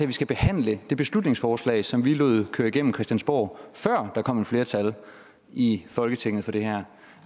vi skal behandle det beslutningsforslag som vi lod køre gennem christiansborg før der kom et flertal i folketinget for det her